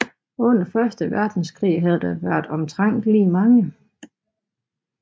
Under første verdenskrig havde der været omtrent lige mange